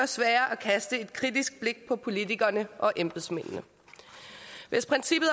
sværere at kaste et kritisk blik på politikerne og embedsmændene hvis princippet